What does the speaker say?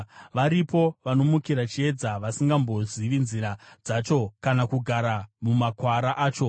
“Varipo vanomukira chiedza, vasingambozivi nzira dzacho kana kugara mumakwara acho.